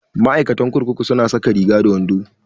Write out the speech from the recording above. Ma'aikatan kurkuku su na saka Riga da wando